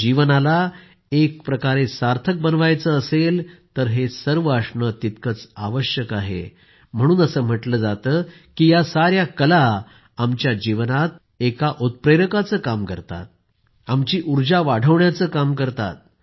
जीवनाला एक प्रकारे सार्थक बनवायचं असेल तर हे सर्व असणं तितकंच आवश्यक आहे म्हणून असं म्हटलं जातं की या साऱ्या कला आमच्या जीवनात एक उत्प्रेरकाचं काम करतात आमची उर्जा वाढवण्याचं काम करतात